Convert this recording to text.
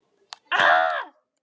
Kjólar! segir gamla konan.